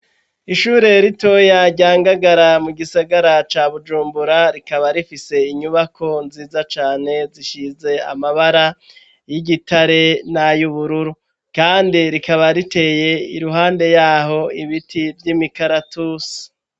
Ishure ritoya rya ngagara mu gisagara ca bujumbura rikaba rifise inyubako nziza cane zisize amabara y'igitare n'ayubururu kandi rikaba riteye iruhande yaho ibiti vy'imikaratusi.